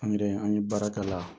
An yɛrɛ an ye baara k'a la